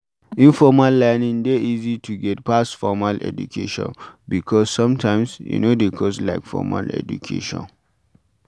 Informal learning dey easy to get pass formal education because sometimes e no dey cost like formal educataion